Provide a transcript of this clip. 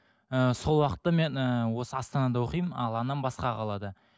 ыыы сол уақытта мен ііі осы астанада оқимын ал анам басқа қалада